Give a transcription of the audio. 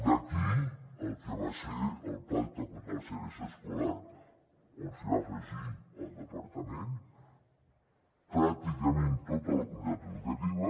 d’aquí el que va ser el pacte contra la segregació escolar on es va afegir el departament pràcticament tota la comunitat educativa